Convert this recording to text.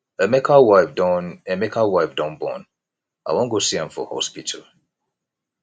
emeka wife don emeka wife don born i wan go see am for hospital